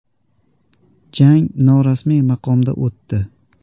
Jang norasmiy maqomda o‘tdi.